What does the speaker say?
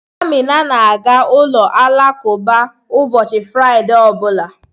Amina na-aga ụlọ alakụba ụbọchị Fraịde ọ bụla.